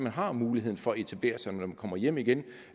har muligheden for at etablere sig når man kommer hjem igen